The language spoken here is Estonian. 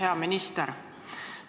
Hea minister!